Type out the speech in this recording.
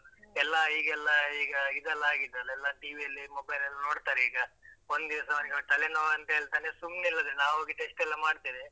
ಎಲ್ಲ ಹೀಗೆಲ್ಲ ಈಗ ಇದೆಲ್ಲ ಆಗಿದೆ ಅಲ್ಲಾ ಎಲ್ಲ TV ಯಲ್ಲಿ mobile ಲ್ಲ ನೋಡ್ತಾರೆ ಈಗ. ಒಂದಿವಸ ಅವ್ನಿಗೆ ತಲೆನೋವ್ ಅಂತ ಹೇಳ್ತಾನೆ ಸುಮ್ನೆ ಎಲ್ಲಾದ್ರೆ ನಾವ್ಹೊಗಿ test ಲ್ಲಾ ಮಾಡ್ತೇವೆ.